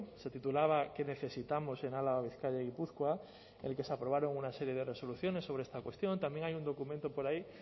se titulaba qué necesitamos en álava bizkaia y gipuzkoa en el que se aprobaron una serie de resoluciones sobre esta cuestión también hay un documento por ahí